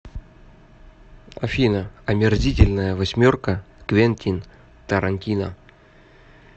афина омерзительная восьмерка квентин тарантино